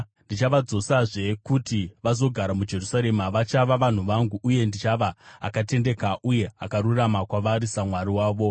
Ndichavadzosazve kuti vazogara muJerusarema; vachava vanhu vangu, uye ndichava akatendeka uye akarurama kwavari saMwari wavo.”